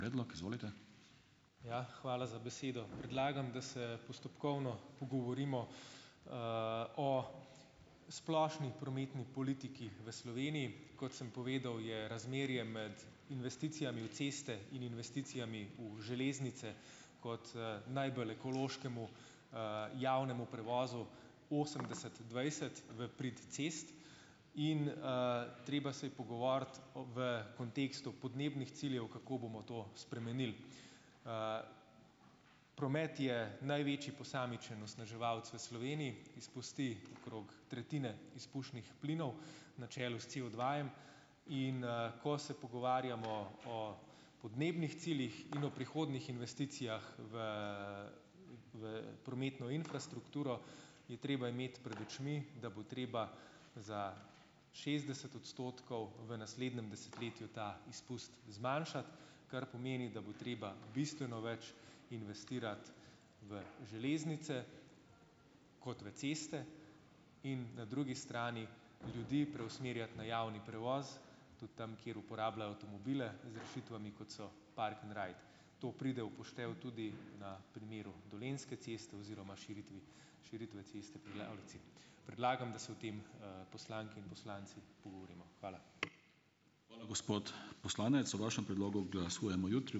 Ja, hvala za besedo. Predlagam, da se postopkovno pogovorimo, o splošni prometni politiki v Sloveniji. Kot sem povedal, je razmerje med investicijami v ceste in investicijami v železnice kot, najbolj ekološkemu, javnemu prevozu osemdeset dvajset v prid cest in, treba se je pogovoriti v kontekstu podnebnih ciljev, kako bomo to spremenili. Promet je največji posamičen onesnaževalec v Sloveniji. Izpusti okrog tretjine izpušnih plinov, na čelu s COdva-jem in, ko se pogovarjamo o podnebnih ciljih in o prihodnjih investicijah v, v prometno infrastrukturo, je treba imeti pred očmi, da bo treba za šestdeset odstotkov v naslednjem desetletju ta izpust zmanjšati. Kar pomeni, da bo treba bistveno več investirati v železnice kot v ceste. In na drugi strani ljudi preusmerjati na javni prevoz. Tudi tam, kjer uporabljajo avtomobile z rešitvami, kot so park and ride. To pride v poštev tudi na primeru Dolenjske ceste oziroma širitvi, širitve ceste pri Lavrici. Predlagam, da se o tem, poslanke in poslanci pogovorimo. Hvala.